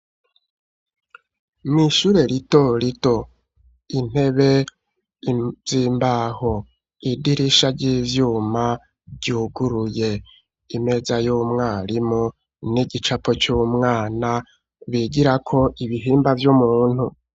Mw'ishure lito lito intebe iyimbaho idirisha ry'ivyuma ryuguruye imeza y'umwarimu n'igicapo c'umwana bigirako ibihimba vy'umuntu.